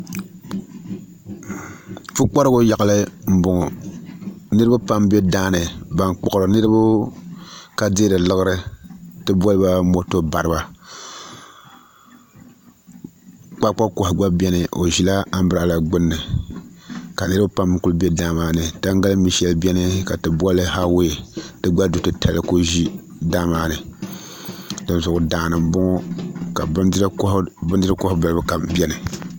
Pukparigi yaɣali n boŋo niraba pam bɛ daani ban kpuɣuri niraba ka deeri laɣari ti boliba moto bariba kpakpa koha gba biɛni o ʒila anbirala gbuni ka niraba pam ku bɛ daa maa ni tangali mi shɛli biɛni ka ti boli hawee di gba du titali ku ʒi daa maa ni dinzuɣu daa ni n boŋo ka bindiri koha nim ku bɛ daa maa ni